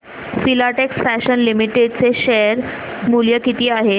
Filatex fashions limited चे share मूल्य किती आहे